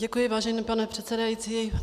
Děkuji, vážený pane předsedající.